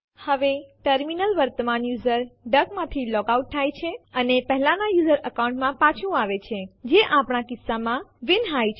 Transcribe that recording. હવે ટર્મિનલ વર્તમાન user duck માંથી લોગઆઉટ થાય છે અને પહેલાના યુઝર અકાઉન્ટ માં પાછું આવે છે જે આપણા કિસ્સા માં વિન્હાઈ છે